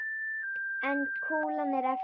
En kúlan er eftir.